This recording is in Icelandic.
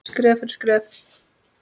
Skref fyrir skrif.